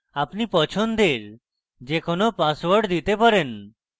আপনি পছন্দের যে কোনো পাসওয়ার্ড দিতে পারেন